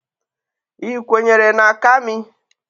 Ị kwenyere na Kami?